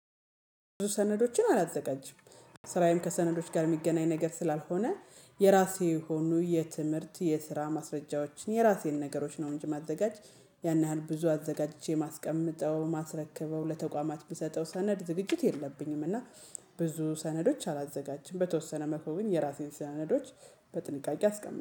ብዙ ሰነዶችን አላዘጋጅም ስራዬም ከሰነዶች ጋር የሚገናኝ ነገር ስላልሆነ የራሴ የሆኑ የትምህርት፣ የስራ ማስረጃዎችን፣ የራሴን ነገሮች ነው እንጂ ማዘጋጅ ያን ያህል ብዙ አዘጋጅቼ ማስቀምጠው ማስረክበው ለተቋማት የምሰጠው ሰነድ ዝግጅት የለብኝም እና ብዙ ሰነዶች አላዘጋጅም በተወሰነ መልኩ ግን የራሴን ስናነዶች በጥንቃቄ አስቀምጣቸዋለሁ።